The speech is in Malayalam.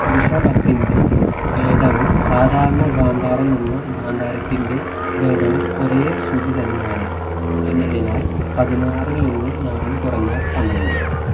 ഋഷഭത്തിന്റെ ഭേദവും സാധാരണ ഗാന്ധാരം എന്ന ഗാന്ധാരത്തിന്റെ ഭേദവും ഒരേ ശ്രുതി തന്നെയാണ് എന്നതിനാൽ പതിനാറിൽ നിന്ന് നാലു കുറഞ്ഞാൽ പന്ത്രണ്ട്